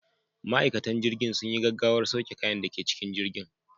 Ma'aikatan jirgin sun yi gaggawar sauke kayan da ke cikin jirgin.